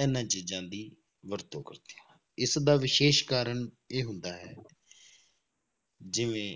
ਇਹਨਾਂ ਚੀਜ਼ਾਂ ਦੀ ਵਰਤੋਂ ਕਰਦੇ ਹਾਂ, ਇਸਦਾ ਵਿਸ਼ੇਸ਼ ਕਾਰਨ ਇਹ ਹੁੰਦਾ ਹੈ ਜਿਵੇਂ